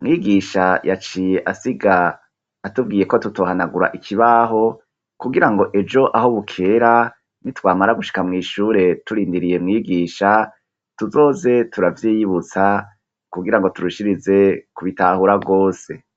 mwigisha yaciye asiga atubwiye ko tutohanagura ikibaho kugira ngo ejo aho bukera ni twamara gushika mw ishure turindiriye mwigisha tuzoze turavyiyibutsa kugira ngo turushirize kubitahura bwose